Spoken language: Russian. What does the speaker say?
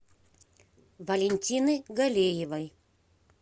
валентины галеевой